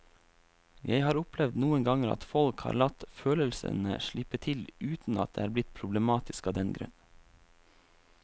Jeg har opplevd noen ganger at folk har latt følelsene slippe til uten at det er blitt problematisk av den grunn.